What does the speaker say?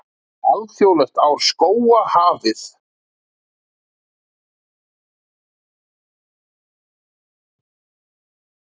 Alþjóðlegt ár skóga hafið